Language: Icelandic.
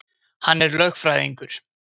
Hann er lögfræðingur.